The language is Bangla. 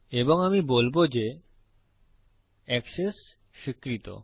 এবং আমি বলবো যে এক্সেস স্বীকৃত